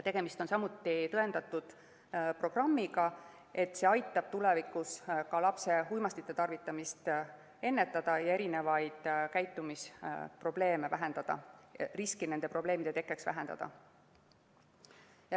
Tegemist on programmiga, mille puhul on tõendatud, et see aitab tulevikus ka lapse uimastite tarvitamist ennetada ja vähendada käitumisprobleeme, riski nende probleemide tekkeks.